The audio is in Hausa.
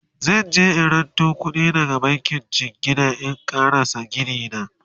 zanje in ranto kuɗi daga bankin jingina in ƙarasa Gini na